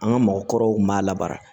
An ka mɔgɔkɔrɔw kun b'a la baara